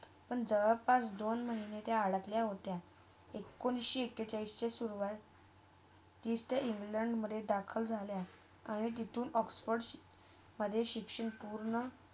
पण जवळ पास दोन महिने ते अरखल्या होता. एकोणीस सुरवात इथे इंग्लंडमधे दखिल झाल्या आणि तिथून ऑक्सफर्ड मधे शिक्षण पूर्ण.